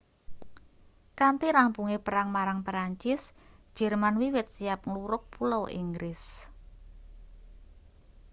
kanthi rampunge perang marang perancis jerman wiwit siap nglurug pulau inggris